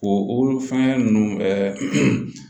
O o fɛngɛ ninnu ɛɛ